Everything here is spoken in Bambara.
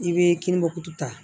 I bɛ kininbɔ kutu ta